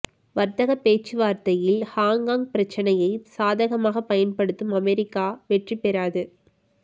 வர்த்தகப் பேச்சுவார்த்தையில் ஹாங்காங் பிரச்சினையை சாதகமாக பயன்படுத்தும் அமெரிக்கா வெற்றி பெறாது